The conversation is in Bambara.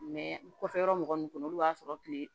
kɔfɛ yɔrɔ mɔgɔ nunnu kunnun olu b'a sɔrɔ kile